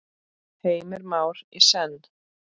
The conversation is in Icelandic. Heimir Már: Í senn?